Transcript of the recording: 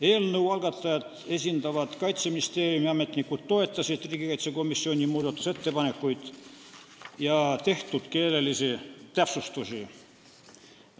Eelnõu algatajat esindavad Kaitseministeeriumi ametnikud toetasid riigikaitsekomisjoni muudatusettepanekuid ja tehtud keelelisi täpsustusi.